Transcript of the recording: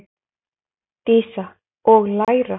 Dísa: Og læra.